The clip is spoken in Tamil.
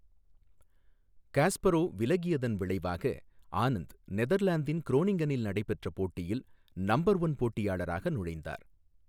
காஸ்பரோவ் விலகியதன் விளைவாக, ஆனந்த் நெதர்லாந்தின் குரோனிங்கனில் நடைபெற்ற போட்டியில் நம்பர் ஒன் போட்டியாளராக நுழைந்தார்.